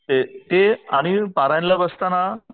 ते आणि परायणला बसताना